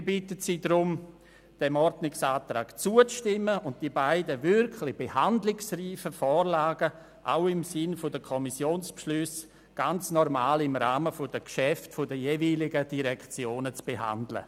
Wir bitten Sie deswegen, dem Ordnungsantrag zuzustimmen und die beiden wirklich behandlungsreifen Vorlagen auch im Sinne der Kommissionsbeschlüsse im Rahmen der normal traktandierten Geschäfte der jeweiligen Direktionen zu behandeln.